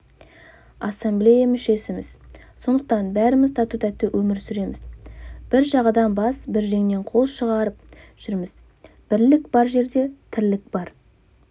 ассамблея мүшесіміз сондықтан бәріміз тату-тәтті өмір сүреміз бір жағадан бас бір жеңнен қол шығарып жүрміз бірлік бар жерде тірлік бар